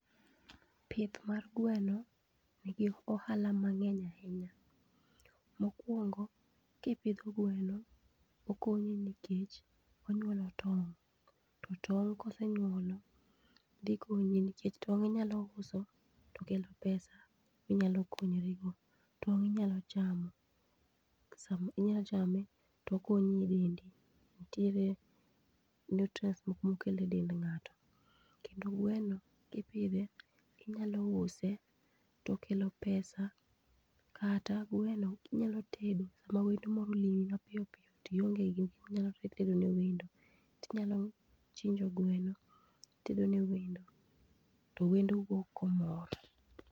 Pith mar gweno nigi ohala mang'eny ahinya. Mokwongo, kipidho gweno, okonyi nikech onyuolo tong'. To tong' kosenyuolo, dhi konyi nikech tong' inyalo uso to kelo pesa minyalo konyori go. Tong' inyalo chamo, inyalo chame tokonyi e dendi. Nitiere nutrients moko mokele dend ng'ato. Kendo gweno kipidhe, inyalo use tokelo pesa, kata gweno kinyalo tedo sama wendo moro olimi mapiyo piyo tionge gi gimoro minyalo tedo ne wendo. Tinyalo chinjo gweno, itedo ne wendo, to wendo wuok komor.